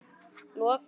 loka þær.